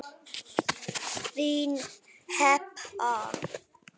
Þín, Heba.